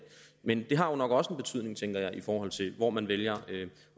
men det har jo nok også en betydning tænker jeg i forhold til hvor man vælger